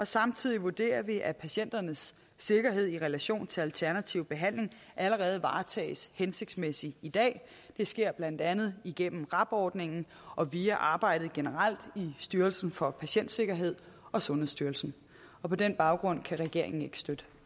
samtidig vurderer vi at patienternes sikkerhed i relation til alternativ behandling allerede varetages hensigtsmæssigt i dag det sker blandt andet igennem rab ordningen og via arbejdet generelt i styrelsen for patientsikkerhed og sundhedsstyrelsen på den baggrund kan regeringen ikke støtte